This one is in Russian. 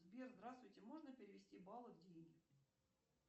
сбер здравствуйте можно перевести баллы в деньги